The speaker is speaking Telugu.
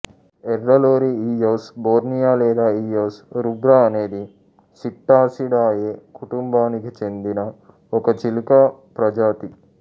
ఎర్ర లోరీ ఇయోస్ బోర్నియా లేదా ఇయోస్ రుబ్రాఅనేది ప్సిట్టాసిడాయే కుటుంబానికి చెందిన ఒక చిలుక ప్రజాతి